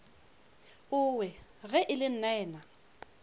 owe ge e le nnaena